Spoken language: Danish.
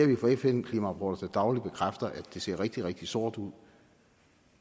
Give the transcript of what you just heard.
vi får fn klimarapporter der dagligt bekræfter at det ser rigtig rigtig sort ud